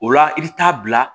O la i bɛ taa bila